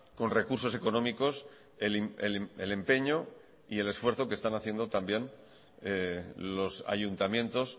con recursos económicos el empeño y el esfuerzo que están haciendo también los ayuntamientos